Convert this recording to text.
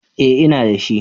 Eh ina da shi.